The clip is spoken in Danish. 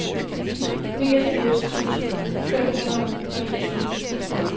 niogfirs tusind fem hundrede og niogtyve